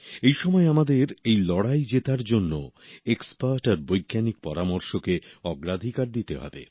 এই সময় আমাদের এই লড়াই জেতার জন্য এক্সপার্ট আর বৈজ্ঞানিক পরামর্শকে অগ্রাধিকার দিতে হবে